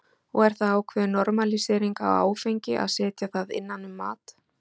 Og er það ákveðin normalísering á áfengi að setja það innan um mat?